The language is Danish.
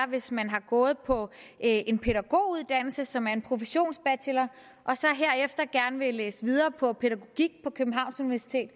hvis man har gået på en pædagoguddannelse som er en professionsbachelor og så herefter gerne vil læse videre på pædagogik på københavns universitet